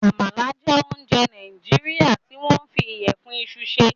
Àmala jẹ́ ounjẹ Nàìjíríà tí wọ́n fi ìyẹ̀fun iṣu ṣe.